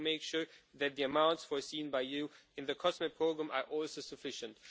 We need to make sure that the amounts foreseen by you in the COSME programme are also sufficient.